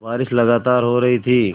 बारिश लगातार हो रही थी